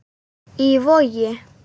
Í Vogi.